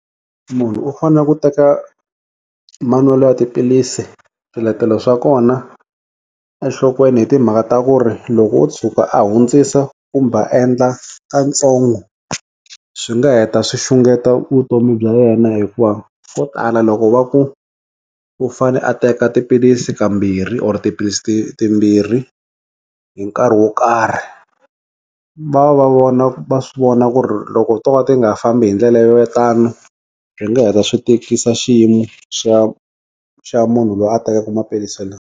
Munhu u fanele ku teka manwelo ya tiphilisi swiletelo swa kona enhlokweni hi timhaka ta ku ri loko wo tshuka a hundzisa kumbe va endla kantsongo swi nga heta swi xungeta vutomi bya yena hikuva ko tala loko va ku u fane a teka tiphilisi ka mambirhi or tiphilisi ti timbirhi hi nkarhi wo karhi va va vona va swi vona ku ri loko u to ka ti nga ha fambi hi ndlela yo tanu swi nga heta swi tikisa xiyimo xa xa munhu loyi a tekaka maphilisi .